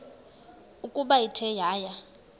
ukuba ithe yaya